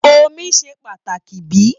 Omí ṣe pàtàkì bíi?